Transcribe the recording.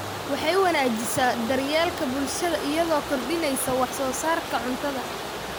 Waxay wanaajisaa daryeelka bulshada iyadoo kordhinaysa wax soo saarka cuntada.